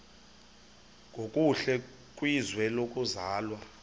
nokuhle kwizwe lokuzalwa